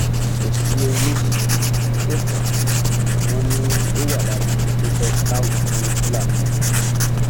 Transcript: kò sí ohun méjì tó fà á wọn ni ó wà lára àwọn tó fẹẹ tà wọn fún fúlàní ni